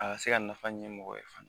A ka se ka nafa ɲɛ mɔgɔ ye fana